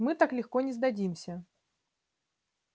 мы так легко не сдадимся